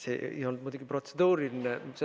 See ei olnud muidugi protseduuriline küsimus.